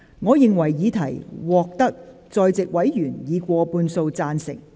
我認為議題獲得在席委員以過半數贊成。